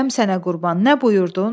Dədəm sənə qurban, nə buyurdun?